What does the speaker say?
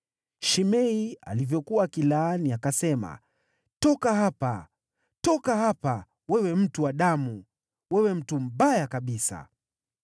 Shimei alivyokuwa akilaani, akasema, “Toka hapa, toka hapa, wewe mtu wa damu, wewe mtu mbaya kabisa!